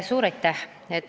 Suur aitäh!